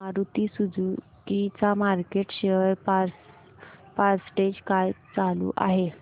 Maruti Suzuki चा market share percentage काय चालू आहे